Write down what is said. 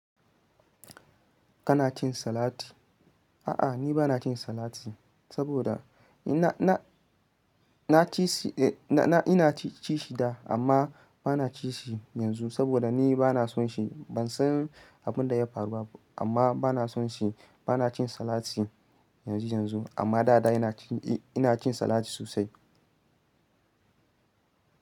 Kana cin salati? A'a, ni ba na cin salat. Saboda ina-- ina ci shi da amma ba na ci shi yanzu saboda ni ba na so shi. Ban san abin da ya faru ba amma ba na so shi. Ba na cin salati yanzu yanzu amma dada ina cin, ina cin salat sosai.